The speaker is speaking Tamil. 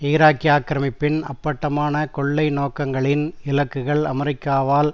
ஈராக்கிய ஆக்கிரமிப்பின் அப்பட்டமான கொள்ளை நோக்கங்களின் இலக்குகள் அமெரிக்காவால்